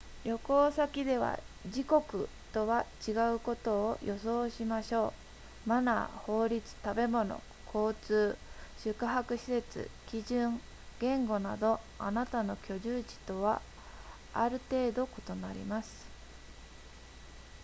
旅行先では自国とは違うことを予想しましょうマナー法律食べ物交通宿泊施設基準言語などあなたの居住地とはある程度異なります